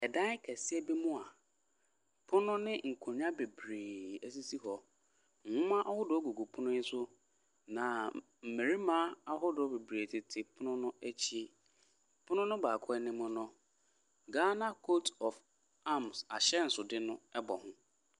Ɛdan kɛseɛ bi mu ɛpono ne nkonnwa bebree esisi hɔ nwoma ahodoɔ gugu pono yɛ so na mmarima ahodoɔ bebree tete pono no akyi pono baako anim no ghana koat of arms ahyɛnsodeɛ no bɔ hɔn.